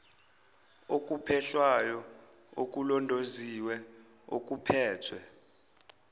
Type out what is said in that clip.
okuphehlwayo okulondoloziwe okuphethwe